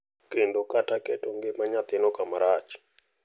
kendo kata keto ngima nyathino kama rach.